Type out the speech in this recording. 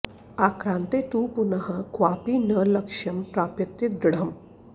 आक्रान्ते तु पुनः क्वापि न लक्ष्यं प्राप्यते दृढम्